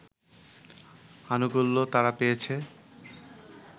আনুকূল্য তারা পেয়েছে